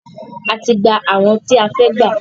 A ti gbà àwọn tí a fẹ́ gbà.